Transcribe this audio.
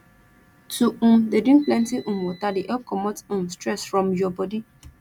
to um dey drink plenty um wata dey help comot um stress from your bodi